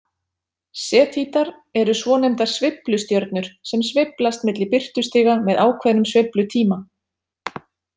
Sefítar eru svonefndar sveiflustjörnur sem sveiflast milli birtustiga með ákveðnum sveiflutíma.